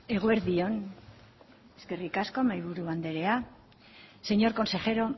eguerdi on eskerrik asko mahaiburu anderea señor consejero